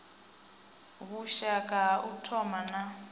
vhushaka ha u thoma na